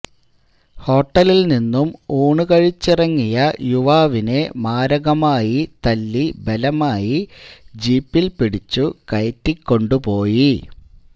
ഹോട്ടലില് നിന്നും ഊണു കഴിച്ചിറങ്ങിയ യുവാവിനെ മാരകമായി തല്ലി ബലമായി ജീപ്പ്പില് പിടിച്ചു കയറ്റിക്കൊണ്ടു പോയി